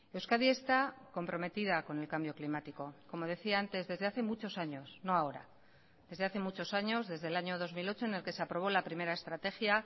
euskadi está comprometida con el cambio climático como decía antes desde hace muchos años no ahora desde hace muchos años desde el año dos mil ocho en el que se aprobó la primera estrategia